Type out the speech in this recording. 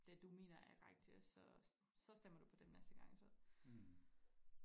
det du mener er rigtigt så så stemmer du på dem næste gang så